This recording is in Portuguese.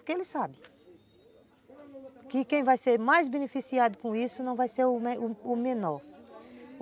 Porque ele sabe que quem vai ser mais beneficiado com isso não vai ser o o menor.